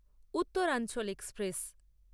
Uttaranchal express